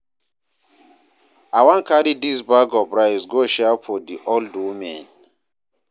I wan carry dis bag of rice go share for di old women.